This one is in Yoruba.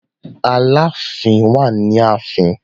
Aláàfin wà ni ààfin.